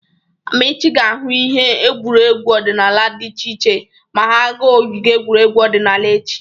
Amaechi ga-ahụ ihe egwuregwu odịnaala dị iche iche ma ha ga ogige egwuregwu odịnaala echi.